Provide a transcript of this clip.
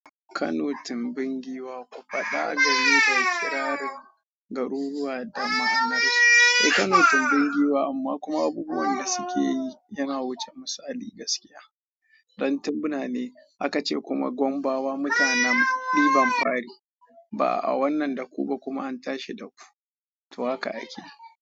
Kano tumbin guwa ku faɗa game da kirarin garuruwa da ma'anarsu. Eh Kano tumbin giwa amma kuma abubuwan da suke yi yana wuce misali gaskiya. Dan tunani aka ce kuma Gombawa mutanen ɗiban fari. Ba'a wannan da ku ba kuma an tashi da ku, to haka ake.